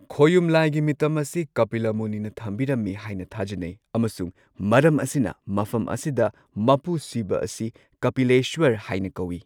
ꯈꯣꯌꯨꯝ ꯂꯥꯏꯒꯤ ꯃꯤꯇꯝ ꯑꯁꯤ ꯀꯄꯤꯂꯥ ꯃꯨꯅꯤꯅ ꯊꯝꯕꯤꯔꯝꯃꯤ ꯍꯥꯏꯅ ꯊꯥꯖꯅꯩ ꯑꯃꯁꯨꯡ ꯃꯔꯝ ꯑꯁꯤꯅ ꯃꯐꯝ ꯑꯁꯤꯗ ꯃꯄꯨ ꯁꯤꯕ ꯑꯁꯤ ꯀꯄꯤꯂꯦꯁ꯭ꯋꯔ ꯍꯥꯏꯅ ꯀꯧꯋꯤ꯫